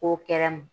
Ko kɛnɛ ma